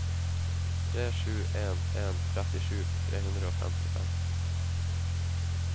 tre sju en en trettisju tre hundre og femtifem